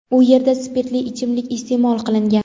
u yerda spirtli ichimlik iste’mol qilgan.